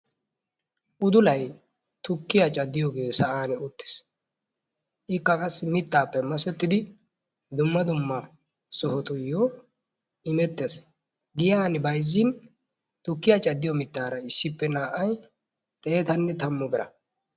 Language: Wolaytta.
Udulay tukkiyaa cadiyooge saa'an uttiis, ikka qassi mitappe masettidi dumma dumma sohotuyo immeettes. Giyan bayzzin tukkiya cadiyo mittaara naa''ay xeetanne tammu bira.